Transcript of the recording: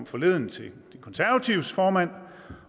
forleden de konservatives formand